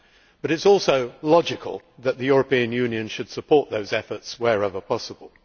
but it is also logical that the European Union should support their efforts wherever possible.